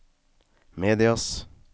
medias